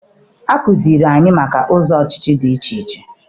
Akuziere anyị maka ụzọ ọchịchị dị iche iche.